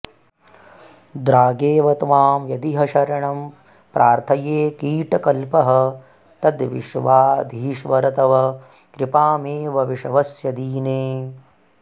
द्रागेव त्वां यदिह शरणं प्रार्थये कीटकल्पः तद्विश्वाधीश्वर तव कृपामेव विश्वस्य दीने